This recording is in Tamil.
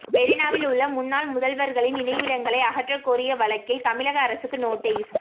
மெரினாவில் உள்ள முன்னாள் முதல்வர்களின் நினைவிடங்களை அகற்ற கோரிய வழக்கில் தமிழக அரசுக்கு நோட்டீஸ்